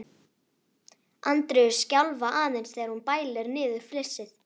Andreu skjálfa aðeins þegar hún bælir niður flissið.